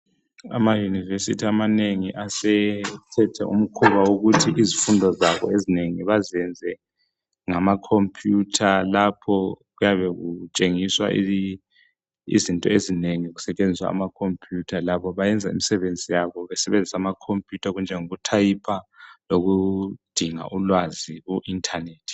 Amayunivesithi amanengi asethethe umkhuba wokuthi izifundo zabo ezinengi bazenze ngamakhompuyutha lapho kuyabe kutshengiswa izinto ezinengi kusetshenziswa amakhompuyutha labo bayenza imisebenzi yabo besebenzisa amakhompuyutha okunjengoku thayipha lokudinga ulwazi ku internet.